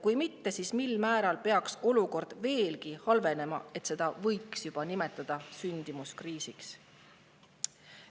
Kui mitte, siis mil määral peaks olukord veelgi halvenema, et seda võiks juba nimetada sündimuskriisiks?